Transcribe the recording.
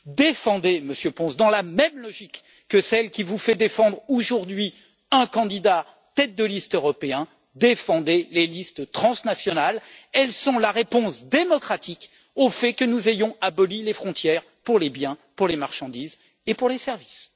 Défendez, Monsieur González Pons dans la même logique que celle qui vous fait défendre aujourd'hui un candidat tête de liste européen défendez les listes transnationales! Elles sont la réponse démocratique au fait que nous ayons aboli les frontières pour les biens, pour les marchandises et pour les services.